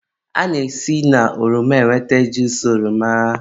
a na-esi na ọrọma enweta juusu oroma.